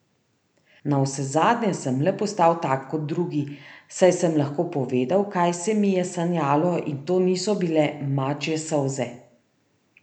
Navsezadnje sem le postal tak kot drugi, saj sem lahko povedal, kaj se mi je sanjalo, in to niso bile mačje solze!